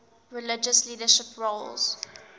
religious leadership roles